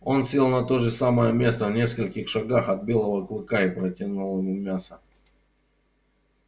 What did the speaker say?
он сел на то же самое место в нескольких шагах от белого клыка и протянул ему мясо